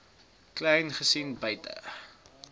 kleyn gesien buite